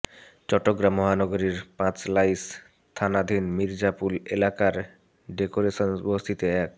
চট্টগ্রাম মহানগীর পাঁচলাইশ থানাধীন মির্জাপুল এলাকার ডেকোরেশন বস্তিতে এক